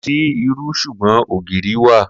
Kò sí irú s̩ùgbó̩n ògìrì wà